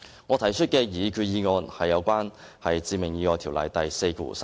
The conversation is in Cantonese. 我提出的擬議決議案是修訂《致命意外條例》第43條。